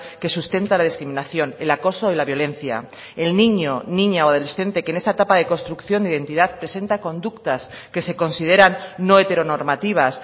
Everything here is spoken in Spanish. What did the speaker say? que sustenta la discriminación el acoso y la violencia el niño niña o adolescente que en esta etapa de construcción de identidad presenta conductas que se consideran no heteronormativas